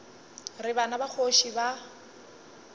re bana ba kgoši ba